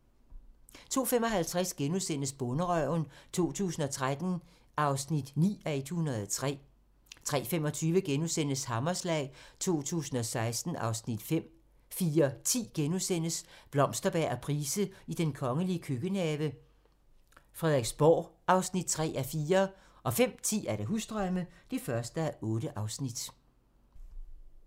02:55: Bonderøven 2013 (9:103)* 03:25: Hammerslag 2016 (Afs. 5)* 04:10: Blomsterberg og Price i den kongelige køkkenhave: Frederiksborg (3:4)* 05:10: Husdrømme (1:8)